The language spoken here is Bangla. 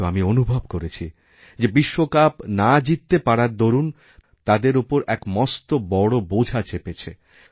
কিন্তু আমি অনুভব করেছি যে বিশ্বকাপ না জিততে পারার দরুন তাঁদের ওপরএক মস্ত বড় বোঝা চেপেছে